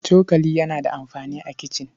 Cokali yana da amfani a kicin.